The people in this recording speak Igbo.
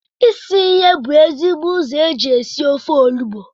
Isi ihe bu ezigbo ụzọ eji esi ofe